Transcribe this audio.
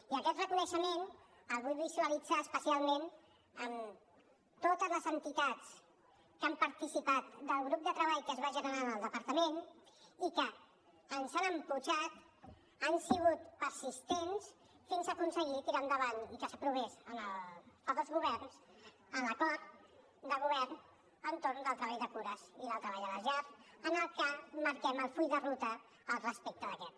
i aquest reconeixement el vull visualitzar especialment en totes les entitats que han participat del grup de treball que es va generar en el departament i que ens han empès han sigut persistents fins a aconseguir tirar endavant i que s’aprovés fa dos governs l’acord de govern entorn del treball de cures i del treball a les llars en el que marquem el full de ruta al respecte d’aquest